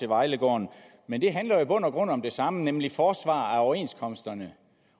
vejlegården men det handler jo i bund og grund om det samme nemlig forsvar af overenskomsterne